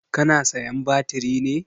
Ka na sayan batiri ne?